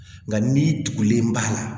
Nka n'i tugulen b'a la